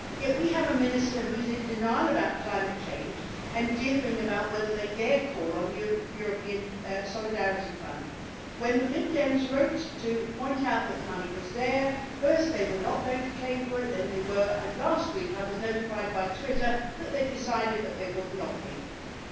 Yet we have a Minister who is in denial about climate change and dithering about whether they dare call on the European Solidarity Fund. When the Lib Dems wrote to point out that the money was there, first they were not going to claim for it, then they were, and last week I was notified by Twitter that they had decided that they would not be claiming.